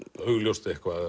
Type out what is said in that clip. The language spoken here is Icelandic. augljóst eitthvað